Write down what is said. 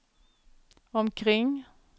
omkring